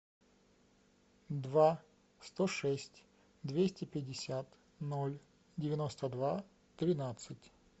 два сто шесть двести пятьдесят ноль девяносто два тринадцать